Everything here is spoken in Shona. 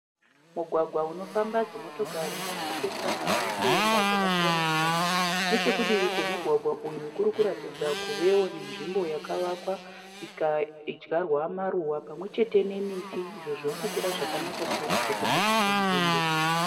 Mugwagwa unofamba dzimotokari dzichipesanawo kuenda kwakasiyana-siyana. Nechekudivi kwomugwagwa uyu kurikuratidza kuti kunewo nenzvimbo yakawakwa ikadyarwa maruwa pamwe chete nemiti izvo zviri kukura zvakanaka chaizvo kunakisa nzvimbo.